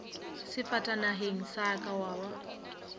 sefatanageng sa ka wa ba